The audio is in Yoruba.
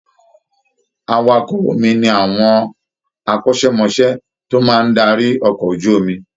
Awakọ̀ omi ni àwọn akọ́ṣẹ́mọṣẹ́ tó máa ń darí ọkọ̀ ojú omi